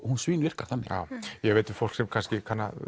hún svínvirkar þannig ég veit um fólk sem kannski